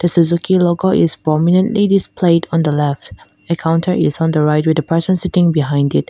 the suzuki logo is prominently displayed on the left a counter is on the right with a person sitting behind it.